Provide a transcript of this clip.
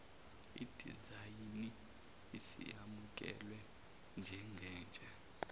idizayini isiyamukelwe njengentsha